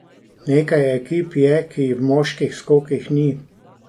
Nekaj ekip je, ki jih v moških skokih ni.